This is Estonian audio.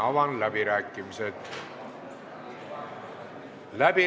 Avan läbirääkimised.